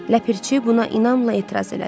Ləpirçi buna inamla etiraz elədi.